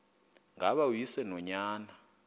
ngaba uyise nonyana